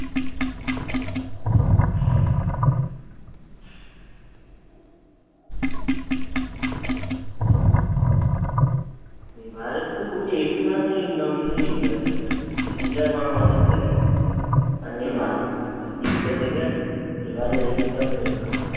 free fire এর তো পুরো আশি percent income ছিল ইন্ডিয়া থেকে। ইন্ডিয়া আর বাংলাদেশ থেকে আর নেপাল। এই তিনটা থেকে এবারে এর eighty percent income